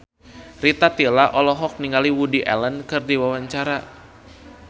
Rita Tila olohok ningali Woody Allen keur diwawancara